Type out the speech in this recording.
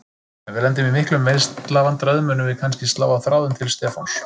Ef við lendum í miklum meiðslavandræðum munum við kannski slá á þráðinn til Stefáns.